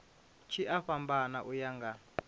tshi a fhambana uya nga